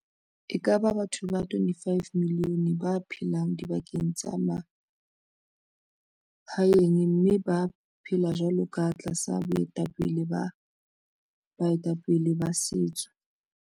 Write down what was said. E ka ba batho ba 25 milione ba phelang dibakeng tsa ma haeng mme ba phela jwalo ka tlasa boetapele ba bae tapele ba setso.